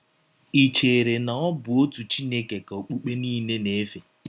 Ì chere na ọ bụ ọtụ Chineke ka ọkpụkpe niile na - efe?